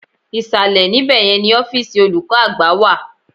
Ìsàlẹ̀ ní bẹ̀yẹn ni ọ́fíìsì olùkọ́ àgbà wà.